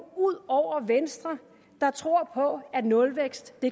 ud over venstre der tror på at nulvækst